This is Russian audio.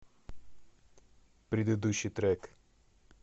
предыдущий трек